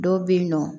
Dɔw bɛ yen nɔ